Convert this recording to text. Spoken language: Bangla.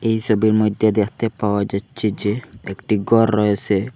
এই সোবির মইদ্যে দেখতে পাওয়া যাচ্চে যে একটি গর রয়েসে।